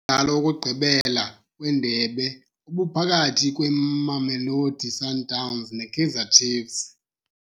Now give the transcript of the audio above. Umdlalo wokugqibela wendebe ubuphakathi kweMamelodi Sundowns neKaizer Chiefs.